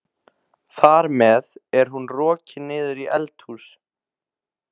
Þar með er hún rokin niður í eldhús.